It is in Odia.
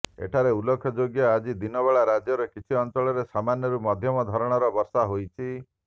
ଏଠାରେ ଉଲ୍ଳେଖଯୋଗ୍ୟ ଆଜି ଦିନ ବେଳା ରାଜ୍ୟର କିଛି ଅଞ୍ଚଳରେ ସାମାନ୍ୟରୁ ମଧ୍ୟମ ଧରଣର ବର୍ଷା ହୋଇଛି